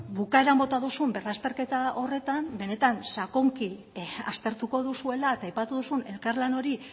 bukaeran bota duzun berrazterketa horretan benetan sakonki aztertuko duzuela eta aipatu duzun elkarlan hori